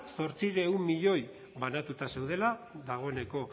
zortziehun milioi banatuta zeudela dagoeneko